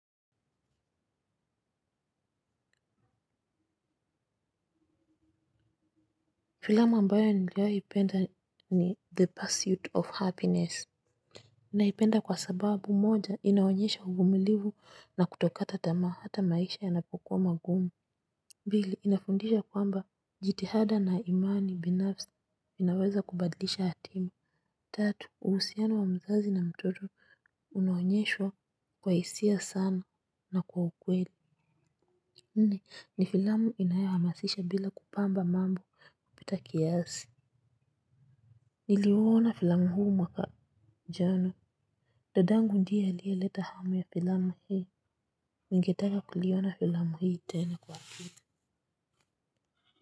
Filamu ambayo niliowai ipenda ni the pursuit of happiness. Naipenda kwa sababu moja inaonyesha uvumilivu na kutokata tama hata maisha yanapokuwa magumu. Pili inafundisha kwamba jitihada na imani binafsi inaweza kubadilisha hatima. Tatu, uhusiano wa mzazi na mtoto unawonyeshwa kwa isia sana na kwa ukweli. Nne, ni filamu inaewa hamasisha bila kupamba mambo kupita kiasi. Niliwona filamu huu mwaka jana. Tadangu ndiye aliyaleta hamu ya filamu hii. Ningetaka kuliona filamu hii tena kwa pili.